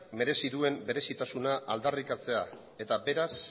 merezi duen berezitasuna aldarrikatzea eta beraz